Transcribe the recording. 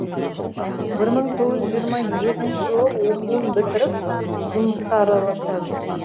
бір мың тоғыз жүз жиырма екінші жылы оқуын бітіріп жұмысқа араласады